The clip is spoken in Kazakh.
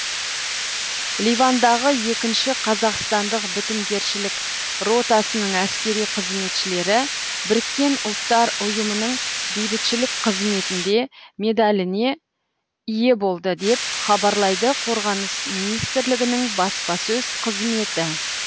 ливандағы екінші қазақстандық бітімгершілік ротасының әскери қызметшілері біріккен ұлттар ұйымының бейбітшілік қызметінде медаліне ие болды деп хабарлайды қорғаныс министрлігінің баспасөз қызметі